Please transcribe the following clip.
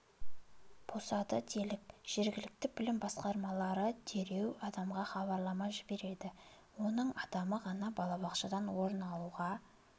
босады делік жергілікті білім басқармалары дереу адамға хабарлама жібереді оның адамы ғана балабақшадан орын алуға